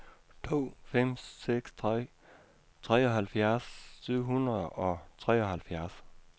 to fem seks tre treoghalvfjerds syv hundrede og treoghalvfjerds